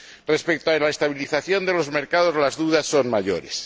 Respecto a la estabilización de los mercados, las dudas son mayores.